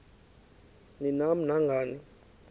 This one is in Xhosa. ni nam nangani